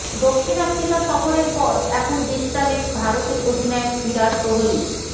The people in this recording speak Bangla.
দক্ষিণ আফ্রিকা সফরের পর এখন বিশ্রামে ভারতের অধিনায়ক বিরাট কোহলি